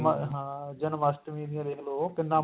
ਹਾਂ ਜਨਮਾਸ਼ਟਮੀ ਦੇਖਲੋ ਕਿੰਨਾ